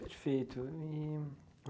Perfeito. E